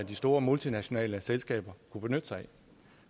de store multinationale selskaber kunne benytte sig af